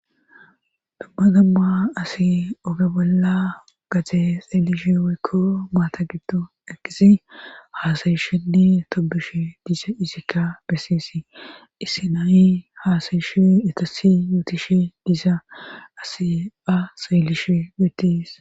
damma damma asi oga bolla gate xeelishe woyikko maata gidon eqidi haasayishenni tobishe diisa isikka bessisi issinayi haasayishe etassi yootishe diza asi ba xeyellishe dees